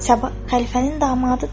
Səbah xəlifənin damadıdır.